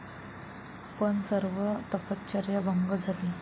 पण सर्व तपश्चर्या भंग झाली.